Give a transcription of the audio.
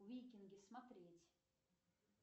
викинги смотреть